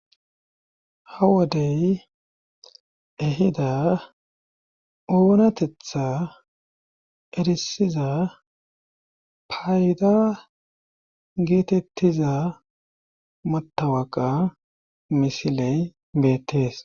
Ha wodey ehida oonatetha erisiza payda geetettiza matawaqa misiley beettees.